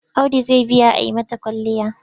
Audu zai biya a yi mata kwalliya.